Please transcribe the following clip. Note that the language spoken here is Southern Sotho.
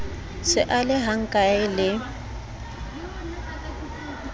se a le hkae le